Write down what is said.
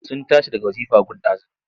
Sun tashi daga wazifa gun ɗazu.